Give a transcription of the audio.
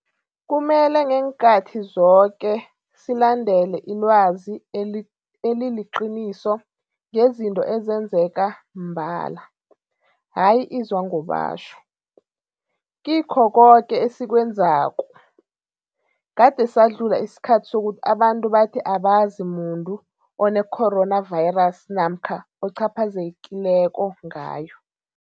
Kumele ngeenkhathi zoke silandele ilwazi eliliqiniso ngezinto ezenzeka mbala, hayi izwangobatjho, kikho koke esikwenzako. Kade sadlula isikhathi sokuthi abantu bathi abazi muntu one-coronavirus namkha ocaphazelekileko ngayo.